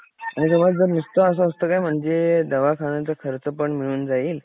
आणि समज जर नुसतं असं असत काय म्हणजे दवाखान्याचा खर्च पण मिळून जाईल.